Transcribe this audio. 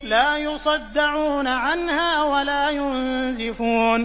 لَّا يُصَدَّعُونَ عَنْهَا وَلَا يُنزِفُونَ